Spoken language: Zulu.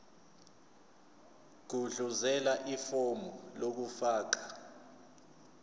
gudluzela ifomu lokufaka